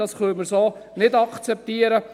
Das können wir so nicht akzeptieren.